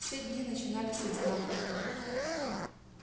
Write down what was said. все дни начинались одинаково